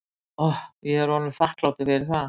Ég er honum þakklátur fyrir það.